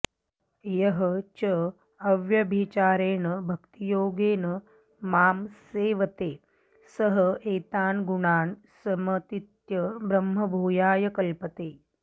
यः च अव्यभिचारेण भक्तियोगेन मां सेवते सः एतान् गुणान् समतीत्य ब्रह्मभूयाय कल्पते